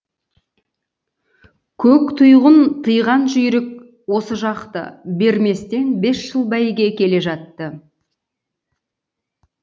көктұйғын тыйған жүйрік осы жақты берместен бес жыл бәйге келе жатты